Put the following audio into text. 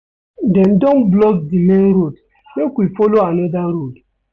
Dem don block di main road make we folo anoda road.